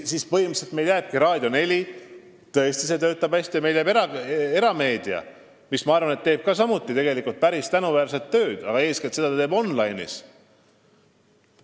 Põhimõtteliselt jäävadki meile siis Raadio 4, mis tõesti hästi töötab, ja erameedia, mis teeb minu arvates samuti päris tänuväärset tööd, aga eeskätt online'is.